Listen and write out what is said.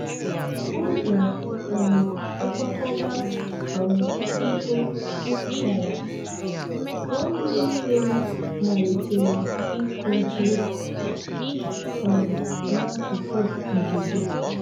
Ụlọ um nkwakọba um ihe juputara, nwanne nne m malitere ịkụ ji um n'akụkụ ogige.